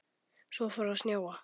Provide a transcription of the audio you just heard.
Svo fór að snjóa.